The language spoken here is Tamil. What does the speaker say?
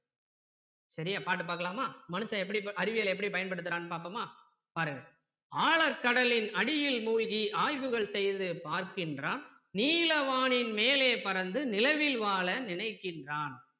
சரியா பாட்டு பார்க்கலாமா மனுசன் எப்படி அறிவியல எப்படி பயன்படுத்துறான்னு பார்ப்போமா பாருங்க ஆழக் கடலின் அடியில் மூழ்கி ஆய்வுகள் செய்து பார்க்கின்றான் நீல வானின் மேலே பறந்து நிலவில் வாழ நினைக்கின்றான்